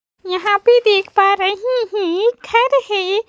यहां पे देख पा रहे हैं एक घर है।